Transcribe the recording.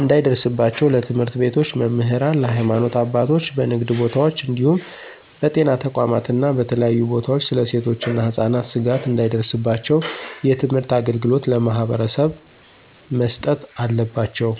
እንዳይደርስባቸው ለትምህርት ቤቶች መምህራን፣ ለሀይማኖት አባቶች፣ በንግድ ቦታወች እንዲሁም በጤና ተቋማት እና በተለያዩ ቦታወች ስለ ሴቶች እና ህፃናት ስጋት እንዳይደርስባቸው የትምህርት አገልግሎት ለማህበረሰቡ መስጠት አለባቸው።